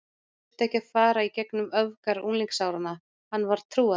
Hann þurfti ekki að fara í gegnum öfgar unglingsáranna, hann var trúaður.